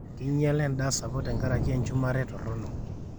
keinyiala endaa sapuk tenkaraki enchumare torrono